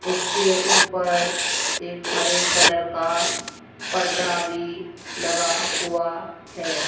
उसके ऊपर एक हरे कलर का पर्दा भी लगा हुआ है।